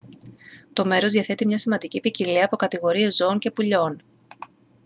το μέρος διαθέτει μια σημαντική ποικιλία από κατηγορίες ζώων και πουλιών